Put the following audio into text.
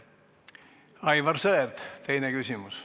Aivar Sõerd, teine küsimus.